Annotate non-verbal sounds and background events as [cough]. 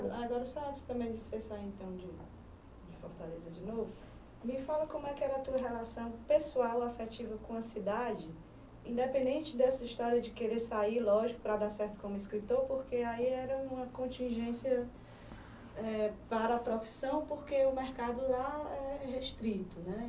agora [unintelligible] saírem então de de Fortaleza de novo, me fala como é que era a tua relação pessoal, afetiva com a cidade, independente dessa história de querer sair, lógico, para dar certo como escritor, porque aí era uma contingência eh, para a profissão, porque o mercado lá é restrito, né?